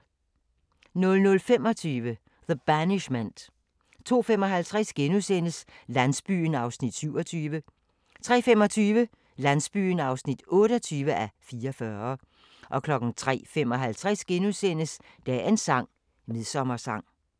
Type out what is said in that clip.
00:25: The Banishment 02:55: Landsbyen (27:44)* 03:25: Landsbyen (28:44) 03:55: Dagens sang: Midsommersang *